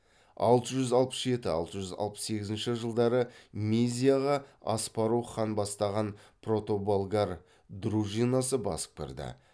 алты жүз алпыс жеті алты жүз алпыс сегізінші жылдары мизияға аспарух хан бастаған протоболгар дружинасы басып кірді